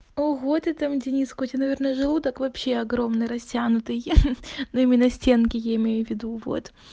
ого ты там дениска у тебя наверное желудок вообще огромный растянутый ха-ха но именно стенки я имею в виду вот